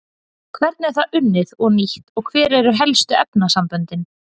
Hvernig er það unnið og nýtt og hver eru helstu efnasamböndin?